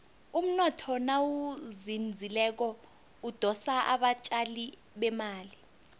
umnotho nawuzinzileko udosa abatjali bemali